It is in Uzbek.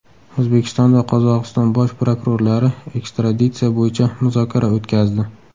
O‘zbekiston va Qozog‘iston bosh prokurorlari ekstraditsiya bo‘yicha muzokara o‘tkazdi.